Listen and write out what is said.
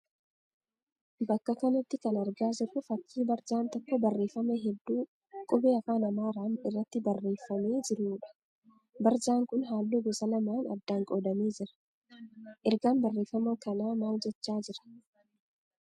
Bakka kanatti kan argaa jirru fakkii barjaan tokko barreeffama hedduu qubee afaan Amaaraan irratti barreeffamee jiruudha. Barjaan kun halluu gosa lamaan addaan qoodamee jira. Ergaan barreeffama kanaa maal jechaa jira?